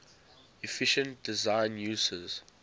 efficient design uses